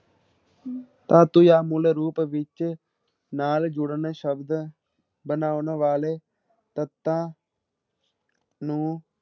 ਧਾਤੂ ਜਾਂ ਮੂਲ ਰੂਪ ਵਿੱਚ ਨਾਲ ਜੁੜਨ ਸ਼ਬਦ ਬਣਾਉਣ ਵਾਲੇ ਤੱਤਾਂ ਨੂੰ